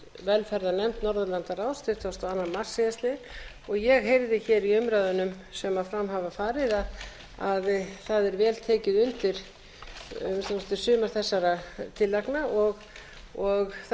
velferðarnefnd norðurlandaráðs tuttugasta og annan mars síðastliðinn ég heyrði hér í umræðunum sem fram hafa farið að það er vel tekið undir að minnsta kosti sumar þessara tillagna og það er von mín